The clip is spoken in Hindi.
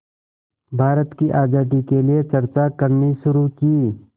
भारत की आज़ादी के लिए चर्चा करनी शुरू की